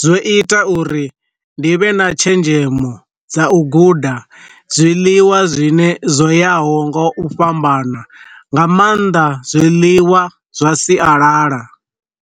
zwo ita uri ndi vhe na tshenzhemo dza u guda zwiḽiwa zwine zwo yaho nga u fhambana nga maanḓa zwiḽiwa zwa sialala.